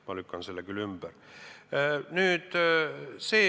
Ma lükkan selle küll ümber.